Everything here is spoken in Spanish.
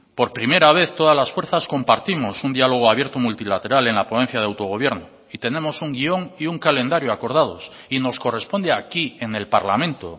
por primera vez todas las fuerzas compartimos un diálogo abierto multilateral en la ponencia de autogobierno y tenemos un guion y un calendario acordados y nos corresponde aquí en el parlamento